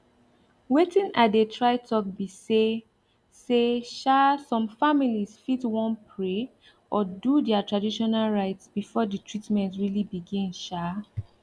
wetin i dey try talk be say say um some families fit wan pray or do their traditional rites before the treatment really begin um